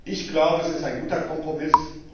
Ich glaube, es ist ein guter Kompromiss.